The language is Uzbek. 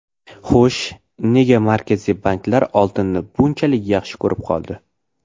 Xo‘sh, nega Markaziy banklar oltinni bunchalik yaxshi ko‘rib qoldi?